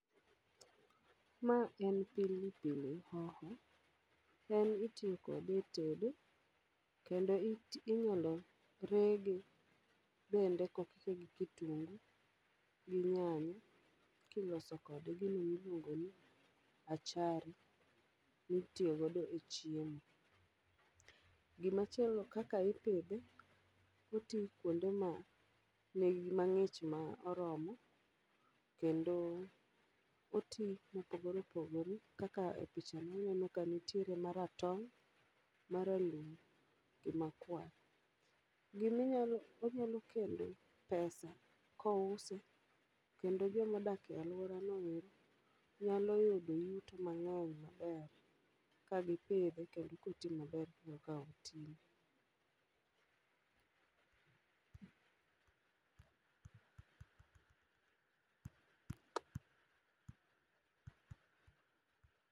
Ma en pili pili hoho, en itiyo kode e tedo. Kendo it inyalo rege bende kokike gi kitungu, gi nyanya. Kiloso kode gima iluongo ni achari, mitiyo godo e chiemo. Gima chielo kaka ipidhe: oti kuonde ma nigi ma ng'ich ma oromo. Kendo oti mopogore opogore, kaka e picha ni aneno ka nitie maratong', maralum, gi makwar. Gini onyalo kelo pesa ko use, kendo joma odake alwora no ero, nyalo yudo yuto mang'eny maber. Ka gipidhe kendo koti maber kaka oti no.